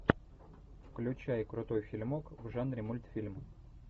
включай крутой фильмок в жанре мультфильм